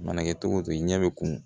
Mana kɛ cogo o cogo i ɲɛ bɛ kun